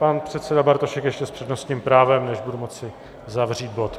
Pan předseda Bartošek ještě s přednostním právem, než budu moci zavřít bod.